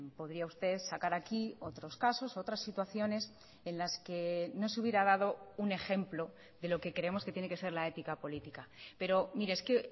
podría usted sacar aquí otros casos otras situaciones en las que no se hubiera dado un ejemplo de lo que creemos que tiene que ser la ética política pero mire es que